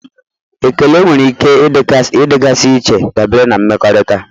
Ekele nwere ike ịdịgasị iche dabere na mmekọrịta.